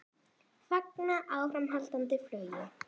Fagna áframhaldandi flugi